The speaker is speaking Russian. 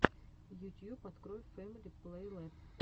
ютьюб открой фэмили плейлэб